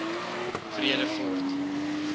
vredefort